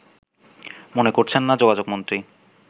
মনে করছেন না যোগাযোগমন্ত্রী